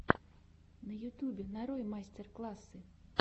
на ютюбе нарой мастер классы